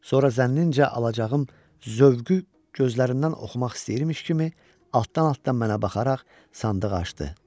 Sonra zənnincə alacağım zövqü gözlərindən oxumaq istəyirmiş kimi altdan-altdan mənə baxaraq sandığı açdı.